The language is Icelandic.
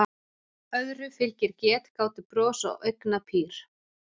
Öðru fylgir getgátubros og augnapír.